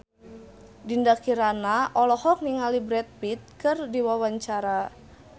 Dinda Kirana olohok ningali Brad Pitt keur diwawancara